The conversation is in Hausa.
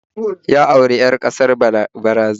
Ya auri 'yar kasar Brazil